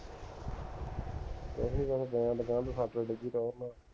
ਕੁਸ਼ ਨੀ ਬੱਸ ਪਿਆ